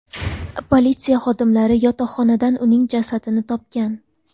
Politsiya xodimlari yotoqxonadan uning jasadini topgan.